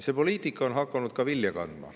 See poliitika on hakanud ka vilja kandma.